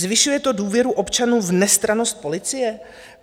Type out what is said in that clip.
Zvyšuje to důvěru občanů v nestrannost policie?